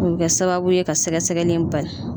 O bi kɛ kɛ sababu ye ka sɛgɛsɛgɛli in bali.